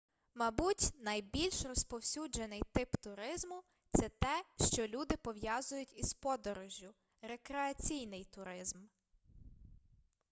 мабуть найбільш розповсюджений тип туризму це те що люди пов'язують із подорожжю рекреаційний туризм